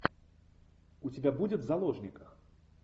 у тебя будет в заложниках